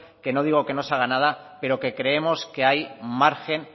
que no digo que no se haga nada pero que creemos que hay margen